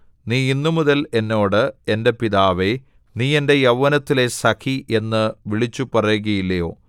നീ ഇന്നുമുതൽ എന്നോട് എന്റെ പിതാവേ നീ എന്റെ യൗവനത്തിലെ സഖി എന്ന് വിളിച്ചുപറയുകയില്ലയോ